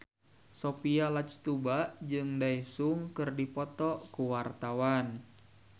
Sophia Latjuba jeung Daesung keur dipoto ku wartawan